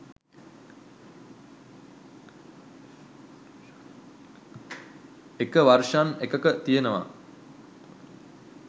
එක වර්ෂන් එකක තියනවා